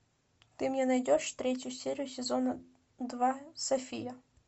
ты мне найдешь третью серию сезона два софия